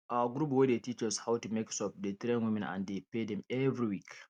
our group wey dey teach us how to make soap dey train women and dey pay dem every week